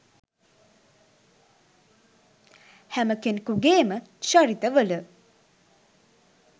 හැම කෙනෙකුගේම චරිත වල